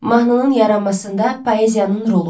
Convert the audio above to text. Mahnının yaranmasında poeziyanın rolu.